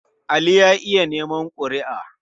Ali ya iya neman ƙuri''a.